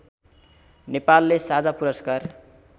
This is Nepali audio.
नेपालले साझा पुरस्कार